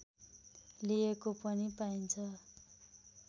लिएको पनि पाइन्छ